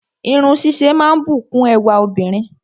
Irun ṣíṣe máa ń bùkún ẹwà obìnrin